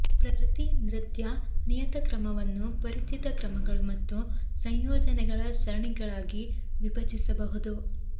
ಪ್ರತಿ ನೃತ್ಯ ನಿಯತಕ್ರಮವನ್ನು ಪರಿಚಿತ ಕ್ರಮಗಳು ಮತ್ತು ಸಂಯೋಜನೆಗಳ ಸರಣಿಗಳಾಗಿ ವಿಭಜಿಸಬಹುದು